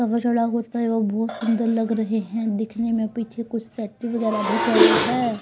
होता है और बहुत सुंदर लग रहे हैं दिखने में पीछे कुछ सेट है.